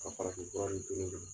Ka farafin ninnu to ne bolo.